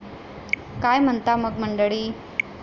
काय म्हणता मग मंडळी?